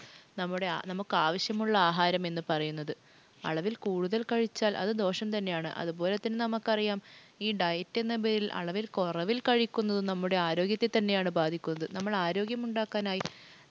നമുക്കാവശ്യമുള്ള ആഹാരം എന്ന് പറയുന്നത്. അളവിൽ കൂടുതൽ കഴിച്ചാൽ അത് ദോഷം തന്നെയാണ്. അതുപോലെ തന്നെ നമുക്കറിയാം ഈ diet എന്ന പേരിൽ അളവിൽ കുറവില്‍ കഴിക്കുന്നത് നമ്മുടെ ആരോഗ്യത്തെ തന്നെയാണ് ബാധിക്കുന്നത് നമ്മൾ ആരോഗ്യമുണ്ടാക്കാനായി